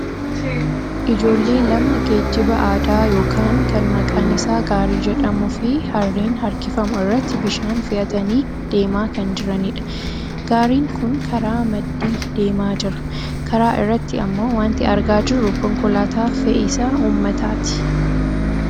Ijoollee lama geejjiba aadaa yookaan kan maqaan isaa gaarii jedhamuu fi harreen harkifamu irratti bishaan fe'atanii deemaa kan jiranidha. Gaariin kun karaa maddii deemaa jira. Karaa irratti ammoo wanti argaa jirru konkolaataa fe'isa uummataati.